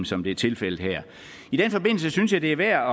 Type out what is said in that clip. som det er tilfældet her i den forbindelse synes jeg det er værd